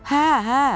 Hə, hə.